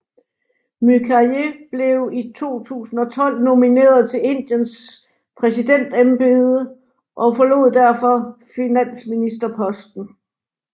Mukherjee blev i 2012 nomineret til Indiens præsidentembede og forlod derfor finansministerposten